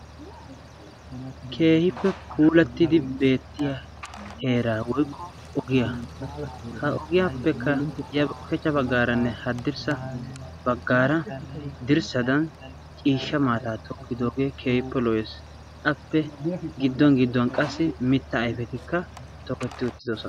Keehippe puulattidi beettiyaa heeraa woykko ogiyaa ha ogiyaappe kare ushshachcha baggaranne hadirssa baggaara dirssadan ciishsha maata tokkidogee keehippe lo"ees. appe qa gidduwaan gidduwaan mittaa ayfeti toketti uttidosona.